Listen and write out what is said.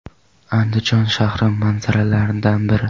Andijon shahri manzaralaridan biri.